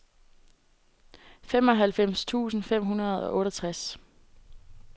femoghalvfems tusind fem hundrede og otteogtres